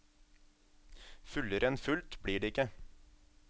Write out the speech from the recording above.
Fullere enn fullt blir det ikke.